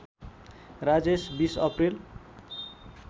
Rajesh २० April